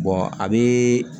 a bɛ